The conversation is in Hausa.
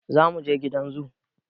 Za muje gidan zoo